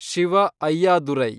Shiva Ayyadurai